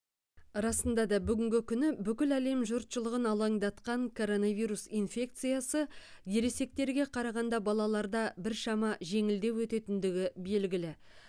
расында да бүгінгі күні бүкіл әлем жұртшылығын алаңдатқан коронавирус инфекциясы ересектерге қарағанда балаларда біршама жеңілдеу өтетіндігі белгілі